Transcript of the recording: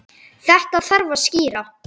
Þetta þarf að skýra.